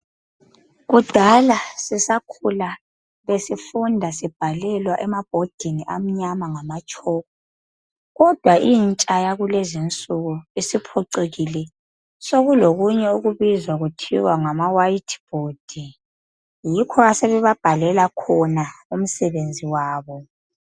Kudala sisakhala besifunda sibhalelwa emabhodini amnyama ngamatshoko kodwa intsha yakulezinsuku isiphucukile, sokulokunye okubizwa kuthiwa ngamawayithi bhodi yikho asebababhalela khona umsebenzi wabo.